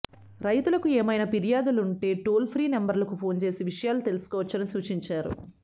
రైతులకు ఏమైనా ఫిర్యాదులుంటే టోల్ఫ్రీ నంబర్లకు ఫోన్ చేసి విషయాలు తెలుసుకోవచ్చని సూచించారు